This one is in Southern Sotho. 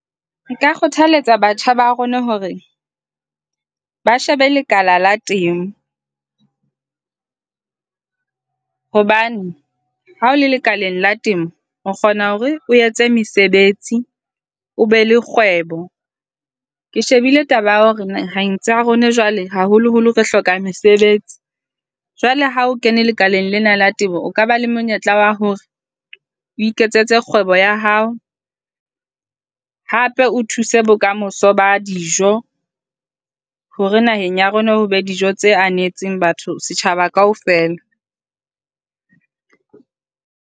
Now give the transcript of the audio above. Nka kgothaletsa batjha ba rona hore ba shebe lekala la temo hobane ha o le lekaleng la temo o kgona hore o etse mesebetsi. O be le kgwebo. Ke shebile taba ya hore naheng tsa rona jwale, haholoholo re hloka mosebetsi. Jwale ha o kene lekaleng lena la temo, o ka ba le monyetla wa hore o iketsetse kgwebo ya hao, hape o thuse bokamoso ba dijo hore naheng ya rona ho le be dijo tse anatseng batho setjhaba kaofela.